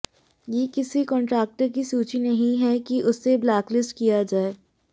ये किसी कॉन्ट्रैक्टर की सूची नही है कि उसे ब्लैकलिस्ट किया जाए